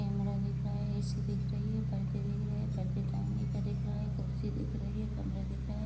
Camera दिख रहा है ए.सी. दिख रही है पर्दा दिख रहा है पर्दे टांगने का दिख रहा है कुर्सी दिख रही है कमरा दिख रहा है।